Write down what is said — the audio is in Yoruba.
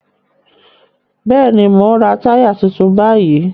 Bẹ́ẹ̀ni, mò ń ra táyà tuntun báyìí